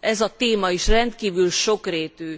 ez a téma is rendkívül sokrétű.